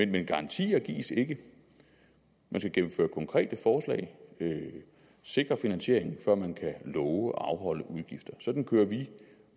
men garantier gives ikke man skal gennemføre konkrete forslag og sikre finansieringen før man kan love at afholde udgifter sådan kører vi